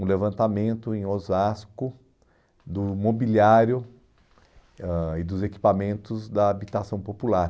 um levantamento em Osasco do mobiliário ãh e dos equipamentos da habitação popular.